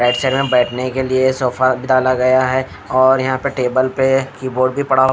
बैठने के लिए सोफा भी डाला गया है और यहाँ पर टेबल पर कीबोर्ड भी पड़ा हुआ--